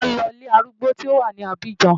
Màá lọ sí ilé arúgbó tí ó wà ní Abidjan.